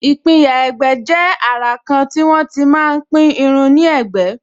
ìpínyà ẹ̀gbẹ́ jẹ́ àrà kan tí wọ́n tí máa pín irun ní ẹ̀gbẹ́